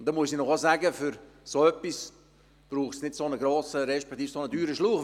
Ich muss Ihnen sagen, dass es für ein solches Ergebnis keinen derart teuren Schlauch braucht.